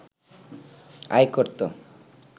আয় করতো